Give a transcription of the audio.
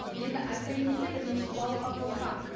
енді айтайын десем ренжітіп алуға қорқамын